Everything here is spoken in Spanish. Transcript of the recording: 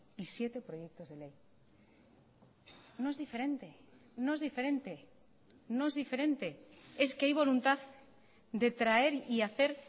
y siete proyectos de ley no es diferente no es diferente no es diferente es que hay voluntad de traer y hacer